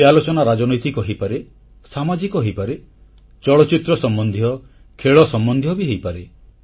ଏହି ଆଲୋଚନା ରାଜନୈତିକ ହୋଇପାରେ ସାମାଜିକ ହୋଇପାରେ ଚଳଚ୍ଚିତ୍ର ସମ୍ବନ୍ଧୀୟ ଖେଳ ସମ୍ବନ୍ଧୀୟ ହୋଇପାରେ